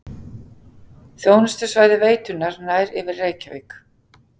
Þjónustusvæði veitunnar nær yfir Reykjavík